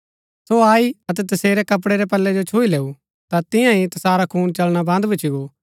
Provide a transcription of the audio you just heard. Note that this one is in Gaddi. सो आई अतै तसेरै कपड़ै रै पल्लै जो छुई लैऊ ता तियां ही तसारा खून चलना बन्द भूच्ची गो